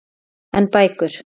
En bækur?